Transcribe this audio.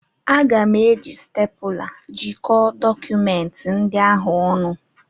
Aga m eji stepụla jikọọ dọkụmenti ndị ahụ ọnụ.